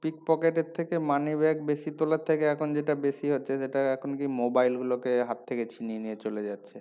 pickpocket এর থেকে money bag বেশি তোলার থেকে এখন যেটা বেশি হচ্ছে সেটা এখন কি mobile গুলোকে হাত থেকে ছিনিয়ে নিয়ে চলে যাচ্ছে